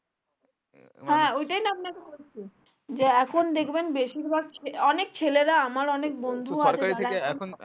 হ্যাঁ ওটাই না আপনাকে বলছি যে এখন দেখবেন বেশির ভাগ অনেক ছেলেরা আমার অনেক বন্ধু